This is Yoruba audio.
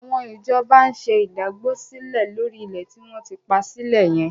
Àwọn ìjọba ń ṣe ìdágbósílẹ̀ lórí ilẹ̀ tí wọ́n ti pa sílẹ̀ yẹn.